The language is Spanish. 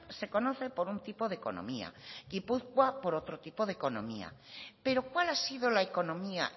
se conoce por un tipo de economía gipuzkoa por otro tipo de economía pero cuál ha sido la economía